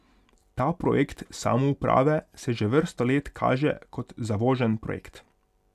Ta projekt samouprave se že vrsto let kaže kot zavožen projekt.